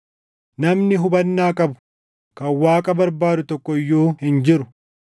namni hubannaa qabu, kan Waaqa barbaadu tokko iyyuu hin jiru.